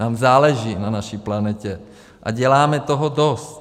Nám záleží na naší planetě a děláme toho dost.